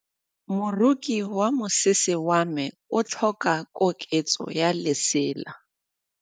Moroki wa mosese wa me o tlhoka koketsô ya lesela.